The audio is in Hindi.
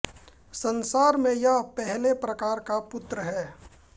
संसार में यह पेहेले प्रकार का पुत्र है